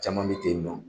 Caman bɛ ten nɔ